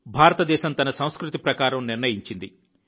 భారతదేశం తన సంస్కృతి ప్రకారం నిర్ణయించింది